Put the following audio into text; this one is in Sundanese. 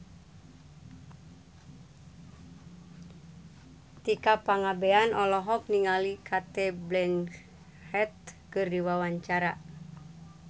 Tika Pangabean olohok ningali Cate Blanchett keur diwawancara